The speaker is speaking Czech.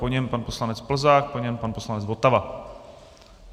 Po něm pan poslanec Plzák, po něm pan poslanec Votava.